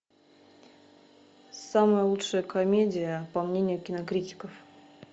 самая лучшая комедия по мнению кинокритиков